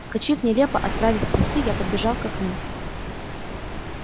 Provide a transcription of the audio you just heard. вскочив нелепо отправив трусы я подбежал к окну